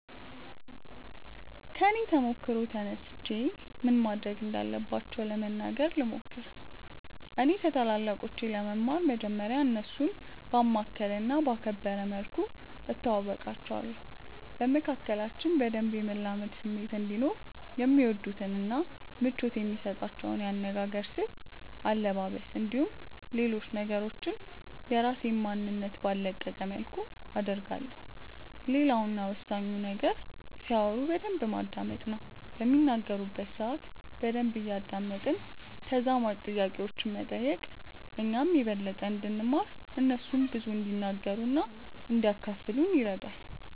ከኔ ተሞክሮ ተነስቼ ምን ማድረግ እንዳለባቸው ለመናገር ልሞክር። እኔ ከታላላቆቼ ለመማር መጀመርያ እነርሱን ባማከለ እና ባከበረ መልኩ እተዋወቃቸዋለሁ። በመካከላችን በደንብ የመላመድ ስሜት እንዲኖርም የሚወዱትን እና ምቾት የሚሰጣቸውን የአነጋገር ስልት፣ አለባበስ፣ እንዲሁም ሌሎች ነገሮችን የራሴን ማንነት ባልለቀቀ መልኩ አደርጋለሁ። ሌላው እና ወሳኙ ነገር ሲያወሩ በደንብ ማዳመጥ ነው። በሚናገሩበት ሰአት በደንብ እያደመጥን ተዛማጅ ጥያቄዎችን መጠየቅ እኛም የበለጠ እንድንማር እነርሱም ብዙ እንዲናገሩ እና እንዲያካፍሉን ይረዳል።